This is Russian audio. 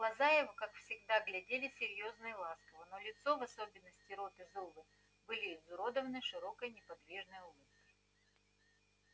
глаза его как всегда глядели серьёзно и ласково но лицо в особенности рот и зубы были изуродованы широкой неподвижной улыбкой